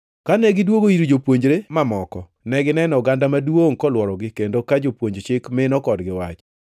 Kane gidwogo ir jopuonjre mamoko, negineno oganda maduongʼ kolworogi kendo ka jopuonj Chik mino kodgi wach.